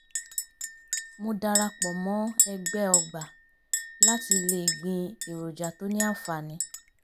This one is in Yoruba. mo darapo mo egbe ogba lati le gbin eroja to ni anfaani